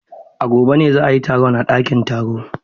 A gobe ne za a yi taro a ɗakin taro.